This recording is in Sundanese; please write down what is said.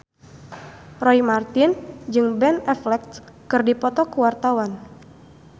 Roy Marten jeung Ben Affleck keur dipoto ku wartawan